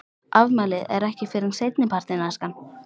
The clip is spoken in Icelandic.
Afmælið er ekki fyrr en seinni partinn, elskan.